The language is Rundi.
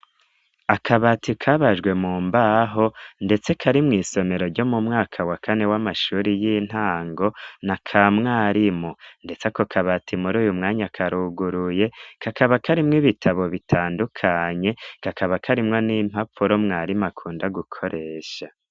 Akabati kabajwe mu mbaho ndetse kari mw'isomero ryo mu mwaka wa kane w'amashuri y'intango, n'aka mwarimu, ndetse ako kabati muri uyu mwanya karuguruye, kakaba karimwo ibitabo bitandukanye, kakaba karimwo n'impapuro mwarimu akunda gukoresha.